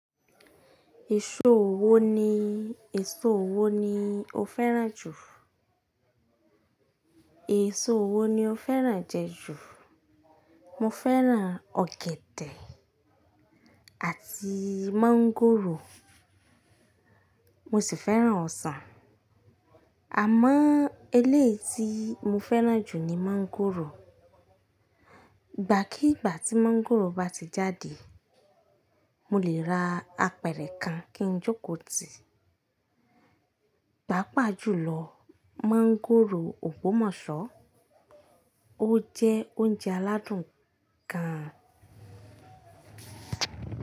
Èso wo ni, èso wo ni o fẹ́ràn jù? Èso wo ni o fẹ́ràn jẹ ju? Mo fẹ́ràn ọ̀gẹ̀dẹ̀ àti mọ́ngòrò mo sì fẹ́ràn ọsàn. Àmọ́ elé tí mo fẹ́ràn jù ni mọ́ngòrò. Ìgbàkígbà tí mọ́ngòrò bá ti jáde, mo lè ra apẹ̀rẹ̀ kan kí n jóko tì. Pápa jùlọ, mọ́ngòrò ò gbómọ̀sọ́. Ó jẹ́ oúnjẹ aládùn kan.